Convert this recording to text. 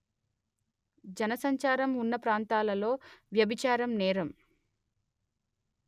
జనసంచారం ఉన్న ప్రాంతాలలో వ్యభిచారం నేరం